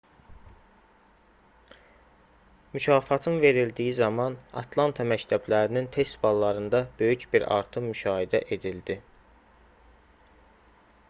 mükafatın verildiyi zaman atlanta məktəblərinin test ballarında böyük bir artım müşahidə edildi